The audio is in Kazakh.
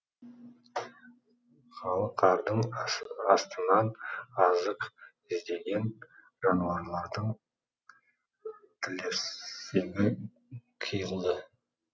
қалың қардың астынан азық іздеген жануарлардың тілерсегі қиылды